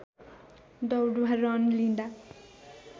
दौड वा रन लिँदा